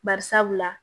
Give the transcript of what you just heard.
Bari sabula